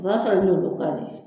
O b'a sɔrɔ e n'olu ka di